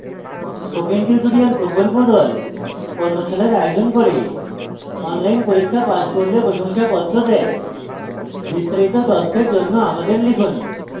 spoken tutorial প্রকল্প the কর্মশালার আয়োজন করে অনলাইন পরীক্ষা পাস করলে প্রশংসাপত্র দেয় বিস্তারিত তথ্যের জন্য আমাদের লিখুন